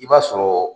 I b'a sɔrɔ